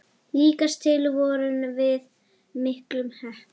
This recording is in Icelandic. Líkast til vorum við miklu heppnari.